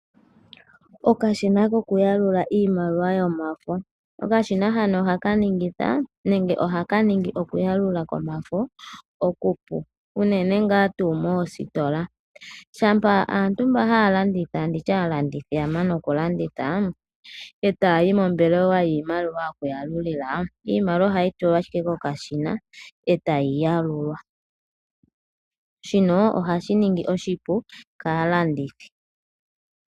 Okashina koku yalula iimaliwa yomafo, okashina hano ohaka ningitha nenge nenge ohaka ningi okuyalula komafo okupu unene nga tu mositola shapa aantu mba halanditha nditye alandithi yamana okulanditha otayi mombelewa yokwalulila iimaliwa ohayi tulwa ashike kokashina etayi yalulwa, shino oha shiningi oshipu kalandithi.